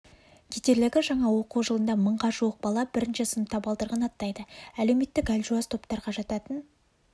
кетерлігі жаңа оқу жылында мыңға жуық бала бірінші сынып табалдырығын аттайды әлеуметтік әлжуаз топтарға жататын